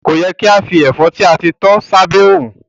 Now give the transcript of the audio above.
Ko yẹ ki a fi ẹfọ ti a ti tọ s'abe òrùn.